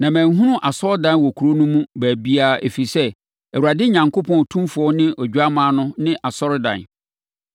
Na manhunu asɔredan wɔ kuro no mu baabiara ɛfiri sɛ, Awurade Onyankopɔn Otumfoɔ ne Odwammaa no ne asɔredan.